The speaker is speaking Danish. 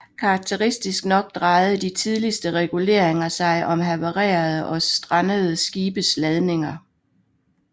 Karakteristisk nok drejede de tidligste reguleringer sig om havarerede og strandede skibes ladninger